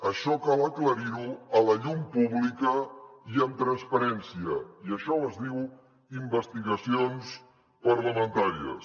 això cal aclarir ho a la llum pública i amb transparència i això es diu investigacions parlamentàries